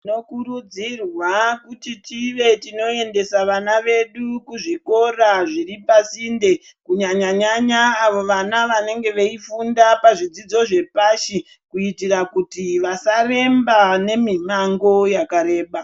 Tinokurudzirwa kuti tive tinoendesa vana vedu kuzvikora zviri pasinde, kunyanya nyanya avo vana vanenge veyifunda pazvidzidzo zvepashi, kuitira kuti vasaremba nemimango yakareba.